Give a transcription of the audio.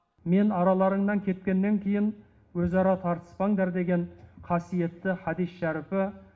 мен араларыңнан кеткеннен кейін өзара тартыспаңдар деген қасиетті хадис шәріпі